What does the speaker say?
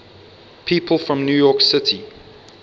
people from new york city